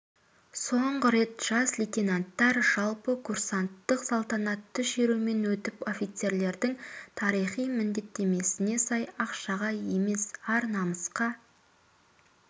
соңғы рет жас лейтенанттар жалпы курсанттық салтанатты шерумен өтіп офицерлердің тарихи міндеттемесіне сай ақшаға емес ар-намысқа